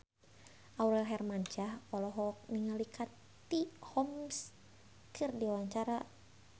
Aurel Hermansyah olohok ningali Katie Holmes keur diwawancara